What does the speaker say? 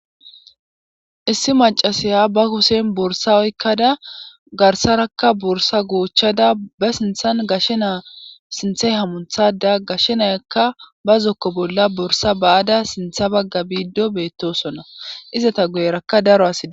Issi macasiya ba kushen borsa oykkada garsarakka borsa goochchada ba sinthan gashshena sinthe hamunthada gashshenayakka ba zokko bolla borsa ba7ada sintha bagga biiddo beettosona izata goyerakka daro asida